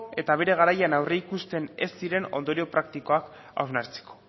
eta bere garaian aurreikusten ez ziren ondorio praktikoak hausnartzeko